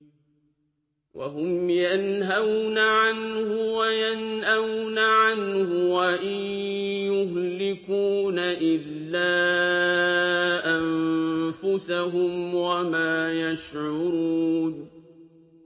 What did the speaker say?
وَهُمْ يَنْهَوْنَ عَنْهُ وَيَنْأَوْنَ عَنْهُ ۖ وَإِن يُهْلِكُونَ إِلَّا أَنفُسَهُمْ وَمَا يَشْعُرُونَ